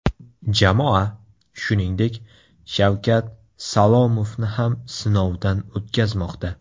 Jamoa, shuningdek, Shavkat Salomovni ham sinovdan o‘tkazmoqda .